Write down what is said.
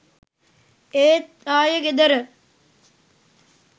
ඒත් ආයේ ගෙදර.